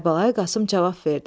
Kərbəlayı Qasım cavab verdi.